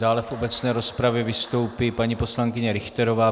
Dále v obecné rozpravě vystoupí paní poslankyně Richterová.